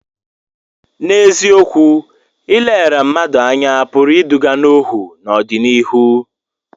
N’eziokwu, ileghara mmadụ anya pụrụ iduga n’ọhụụ n’ọdịnihu.